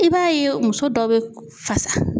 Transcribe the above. I b'a ye muso dɔ bɛ fasa.